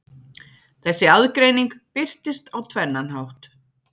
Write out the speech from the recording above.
Þessi aðgreining birtist á tvennan hátt.